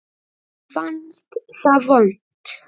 Honum fannst það vont.